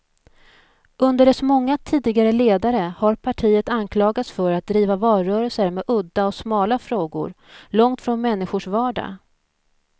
Under dess många tidigare ledare har partiet anklagats för att driva valrörelser med udda och smala frågor, långt från människors vardag.